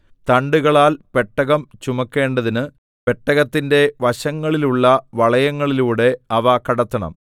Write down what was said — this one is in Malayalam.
തണ്ടുകളാൽ പെട്ടകം ചുമക്കേണ്ടതിന് പെട്ടകത്തിന്റെ വശങ്ങളിലുള്ള വളയങ്ങളിലൂടെ അവ കടത്തണം